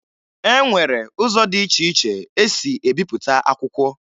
E nwere ụzọ dị iche iche e si ebipụta akwụkwọ